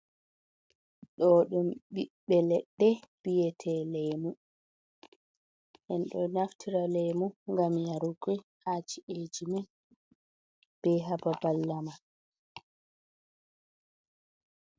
Ɗoo ɗum ɓiɓɓe leɗɗe, bi'etee leemu. Ɗum ɗo naftira leemu gam yarugo ha ci'eeji men bee ha babal lamar.